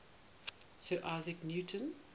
sir isaac newton